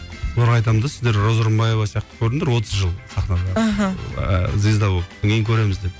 оларға айтамын да сіздер роза рымбаева сияқты көріңдер отыз жыл сахнада мхм ыыы звезда болып содан кейін көреміз деп